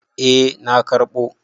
Eh na karɓo.